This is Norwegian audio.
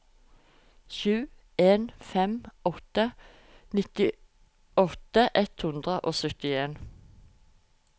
sju en fem åtte nittiåtte ett hundre og syttien